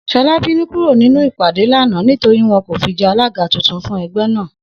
S̩o̩lá bínú kúrò nínú ìpàdé lánàá nítorí wo̩n kò fi je̩ alága tuntun fún e̩gbé̩ náà